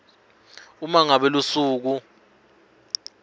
uma ngabe lusuku